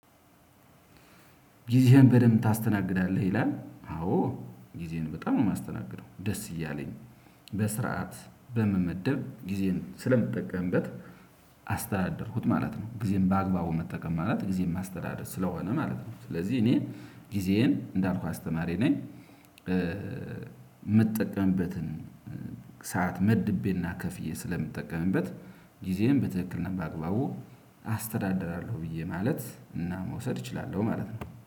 ጊዜህን በደንብ ታስተናግዳለህ ይላል? አዎ ጊዜየን በጣም ነው የማስተናግደው። ደስ እያለኝ በስርዓት በመመደብ ጊዜን ስለምጠቀምበት አስተዳደርኩት ማለት ነው። ጊዜን በአግባቡ መጠቀም ማለት ጊዜን ማስተዳደር ስለሆነ ማለት ነው። ስለዚህ እኔ ጊዜዬን እንዳልኩ አስተማሪ ነኝ። የምጠቀምበትን ሰዓት መድቤና ከፍዬ ስለምጠቀምበት ጊዜን በትክክል ነው በአግባቡ አስተዳደራለሁ ብዬ ማለት እና መውሰድ እችላለሁ ማለት ነው